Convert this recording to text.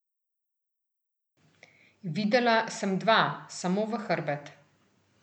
Videla sem dva, samo v hrbet.